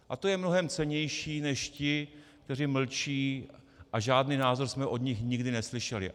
A to je mnohem cennější než ti, kteří mlčí a žádný názor jsme od nich nikdy neslyšeli.